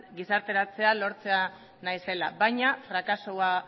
gizarteratzea lortzea nahi zela baina frakasua